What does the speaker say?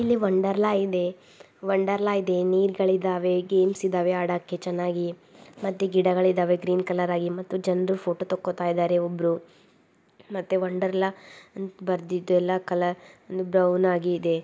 ಇಲ್ಲಿ ವಂಡರ್ ಲಾ ಇದೆ. ವಂಡರ್ ಲಾ ಇದೆ ನೀರ್ಗಳಿದ್ದಾವೆ ಗೇಮ್ಸ್ ಇದಾವೆ ಆಡಾಕೆ ಚೆನ್ನಾಗಿ ಮತ್ತೆ ಗಿಡಗಳಿದ್ದಾವೆ ಗ್ರೀನ್ ಕಲರ್. ಅಲ್ಲಿ ಜನರು ಎಲ್ಲ ಫೋಟೋ ತಕ್ಕೊತ ಇದ್ದಾರೆ ಒಬ್ರು ಮತ್ತೆ ವಂಡರ್ ಲಾ ಬರ್ದಿದ್ದು ಎಲ್ಲ ಕಲರ್ ಬ್ರೌನ್ ಆಗಿ ಇದೆ.